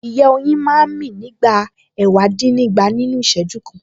Ìyẹ́ oyin máa ń mí nígbà ẹ̀wàdínnígba nínú Ìṣẹ́jú kan